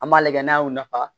An b'a lajɛ n'a y'o nafa